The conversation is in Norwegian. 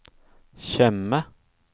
Tjøme